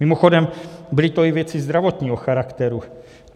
Mimochodem, byly to i věci zdravotního charakteru.